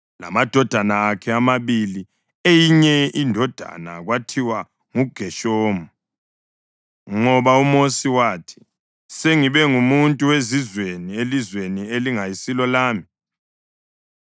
lamadodana akhe amabili. Eyinye indodana kwakuthiwa nguGeshomu, ngoba uMosi wathi, “Sengibe ngumuntu wezizweni elizweni elingayisilo lami.”